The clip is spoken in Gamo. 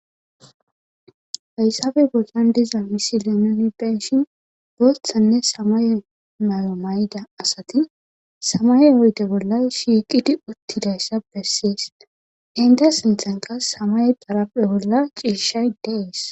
fayssabe bollan diza misi leenoni benshin bothanne samaye mayo may7da asati samaye oyde bolla shiiqidi uttidayssa bessees inda sinthan qas samay paraphe bolla ciishay dees